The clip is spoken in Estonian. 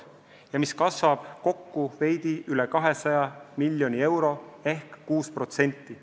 See summa kasvab kokku veidi üle 200 miljoni euro ehk 6%.